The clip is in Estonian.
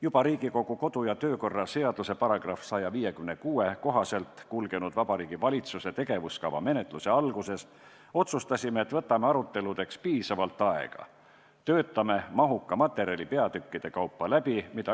Juba Riigikogu kodu- ja töökorra seaduse § 156 kohaselt kulgenud Vabariigi Valitsuse tegevuskava menetluse alguses otsustasime, et võtame aruteludeks piisavalt aega ja töötame mahuka materjali peatükkide kaupa läbi.